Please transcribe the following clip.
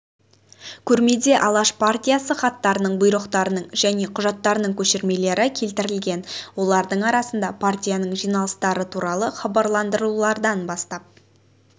көрмеде алаш партиясы хаттарының бұйрықтарының және құжаттарының көшірмелері келтірілген олардың арасында партияның жиналыстары туралы хабарландырулардан бастап